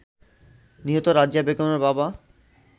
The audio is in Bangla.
নিহত রাজিয়া বেগমের বাবা